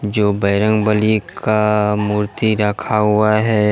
जो बजरंग बलि का मूर्ति रखा हुआ है।